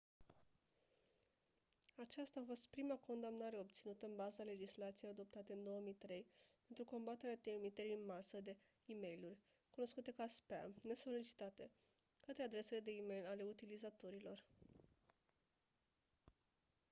aceasta a fost prima condamnare obținută în baza legislației adoptate în 2003 pentru combaterea trimiterii în masă de e-mailuri cunoscute ca spam nesolicitate către adresele de e-mail ale utilizatorilor